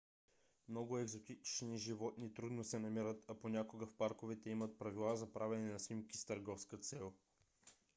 много екзотични животни трудно се намират а понякога в парковете имат правила за правене на снимки с търговска цел